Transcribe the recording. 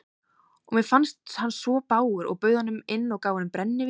Og mér fannst hann svo bágur að ég bauð honum inn og gaf honum brennivín.